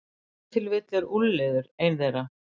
Ef til vill er úlfliður ein þeirra.